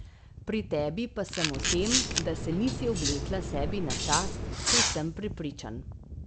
Pri tebi pa sem o tem, da se nisi oblekla sebi na čast, povsem prepričan.